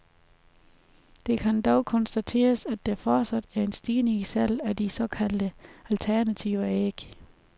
Det kan dog konstateres at der fortsat er en stigning i salget af de såkaldt alternative æg.